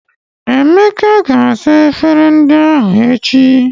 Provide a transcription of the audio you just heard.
Emeka ga-asa efere ndị ahụ echi.